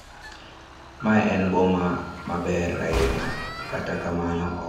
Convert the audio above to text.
Mae en boma maber ahinya, kata kamano ok anyal bet gi kue.